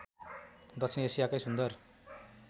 दक्षिण एसियाकै सुन्दर